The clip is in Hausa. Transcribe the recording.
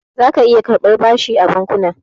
Zaka iya karɓar bashi a bankuna.